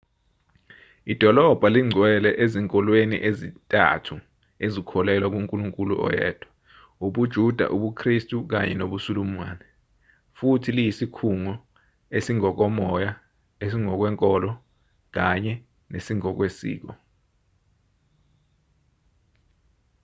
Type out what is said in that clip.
idolobha lingcwele ezinkolweni ezintathu ezikholelwa kunkulunkulu oyedwa ubujuda ubukhristu kanye nobusulumani futhi liyisikhungo esingokomoya esingokwenkolo kanye nesingokwesiko